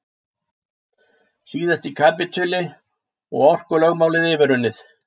Síðasti kapítuli- orkulögmálið yfirunnið